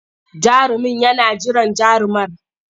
Jarumin yana jiran jarumar.